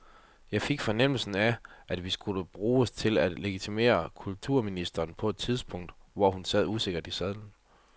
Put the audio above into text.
Jeg fik fornemmelsen af, at vi skulle bruges til at legitimere kulturministeren på et tidspunkt, hvor hun sad usikkert i sadlen.